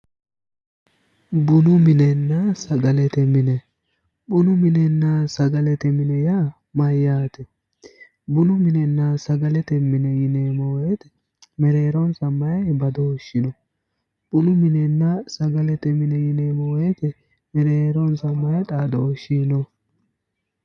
Bunu minenna sagalete mine, bunu minenna sagalete mine yaa mayate, bunu minenna sagalete mine yineemmo woyte mereeronsa maayi badooshi no, bunu minenna sagalete mine yineemmo woyte mereeronsa maa xaadoshi no?